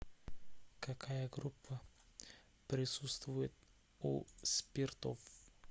какая группа присутствует у спиртов